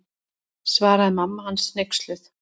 Svaraði mamma hans hneyksluð.